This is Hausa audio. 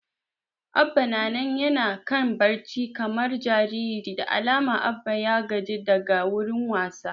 Abba na nan yana kan barci kamar jariri, da alama Abba ya gaji daga wurin wasa